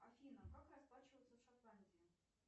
афина как расплачиваться в шотландии